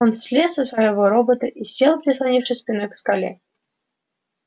он слез со своего робота и сел прислонившись спиной к скале